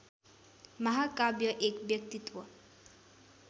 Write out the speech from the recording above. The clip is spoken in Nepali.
महाकाव्य एक व्यक्तित्व